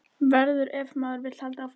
Verður- ef maður vill halda áfram að lifa.